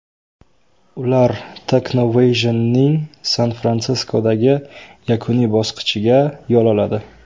Ular Technovation’ning San-Fransiskodagi yakuniy bosqichiga yo‘l oladi.